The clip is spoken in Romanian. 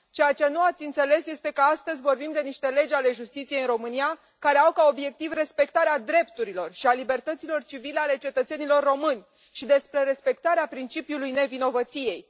Ceea ce nu ați înțeles este că astăzi vorbim despre niște legi ale justiției în România care au ca obiectiv respectarea drepturilor și a libertăților civile ale cetățenilor români și respectarea principiului nevinovăției.